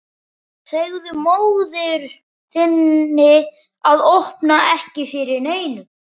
Segðu móður þinni að opna ekki fyrir neinum.